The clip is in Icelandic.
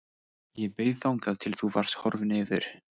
Ég beið þangað til þú varst horfinn yfir